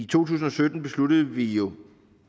tusind og sytten besluttede vi jo